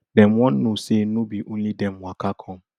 dem wan know say no be only dem waka come